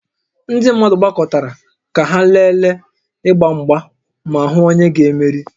Ndị mmadụ gbakọtara ka ha lelee ịgba mgba ma hụ onye ga-emeri